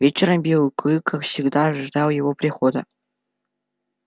вечером белый клык как всегда ждал его прихода